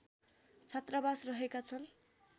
छात्रावास रहेका छन्